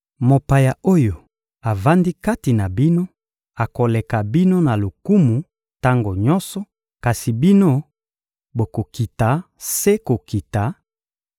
Mopaya oyo avandi kati na bino akoleka bino na lokumu tango nyonso, kasi bino bokokita se kokita;